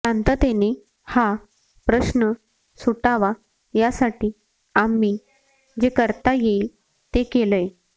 शांततेने हा प्रश्न सुटावा यासाठी आम्ही जे करता येईल ते केलंय